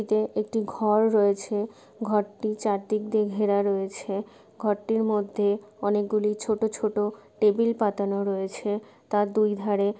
এতে একটি ঘর রয়েছে । ঘরটি চারদিক দিয়ে ঘেরা রয়েছে। ঘরটির মধ্যে অনেকগুলি ছোটো ছোটো টেবিল পাতানো রয়েছে । তার দুই ধারে --